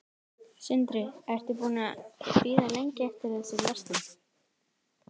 Sindri: Ertu búin að vera að bíða lengi eftir þessari verslun?